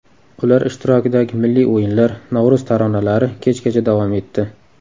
Ular ishtirokidagi milliy o‘yinlar, Navro‘z taronalari kechgacha davom etdi.